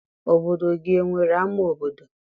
Obodo gị enwere ama obodo?